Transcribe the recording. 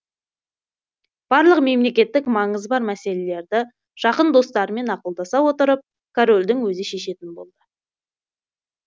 барлық мемлекеттік маңызы бар мәселелерді жақын достарымен ақылдаса отырып корольдің өзі шешетін болды